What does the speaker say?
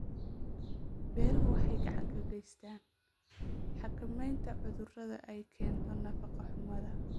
Beeruhu waxay gacan ka geystaan ??xakamaynta cudurrada ay keento nafaqo-xumada.